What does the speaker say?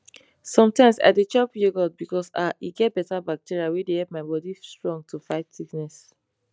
sometimes i dey chop yogurt because ah e get beta bacteria wey dey help my bodi strong to fight sickness